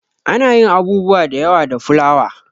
Ana yin abubuwa da yawa da fulawa.